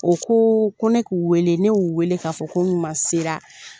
U ko ko ne k'u wele ne y'u wele k'a fɔ ko n ɲuman sera